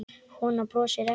Konan brosir ekki.